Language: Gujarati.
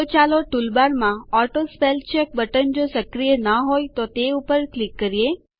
તો ચાલો ટૂલબારમાં ઓટોસ્પેલચેક બટન જો સક્રિય ના હોય તો તે પર ક્લિક કરીએ